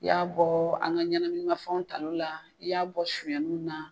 I y'a bɔ an ka ɲɛnaminimafɛnw ta olu la i y'a bɔ sonyanniw na